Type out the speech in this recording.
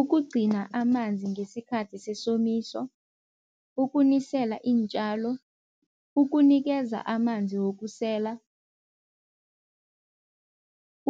Ukugcina amanzi ngesikhathi sesomiso, ukunisela iintjalo, ukunikeza amanzi wokusela,